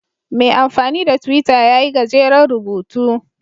Mai amfani da Twitter ya yi gajeren rubutu